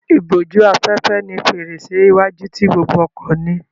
Ìbójú-afẹ́fẹ́ ni fèrèsé iwájú tí gbogbo ọkọ̀ ní.